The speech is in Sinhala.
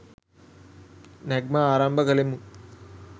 නැග්ම ආරම්භ කළෙමු.